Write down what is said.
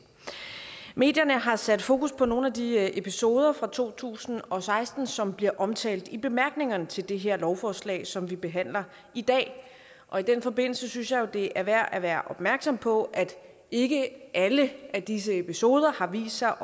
medierne har sat fokus på nogle af de episoder fra to tusind og seksten som bliver omtalt i bemærkningerne til det her lovforslag som vi behandler i dag og i den forbindelse synes jeg jo det er værd at være opmærksom på at ikke alle disse episoder har vist sig